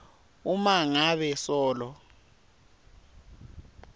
uma ngabe solo